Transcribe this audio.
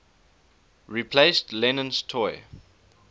replaced lennon's toy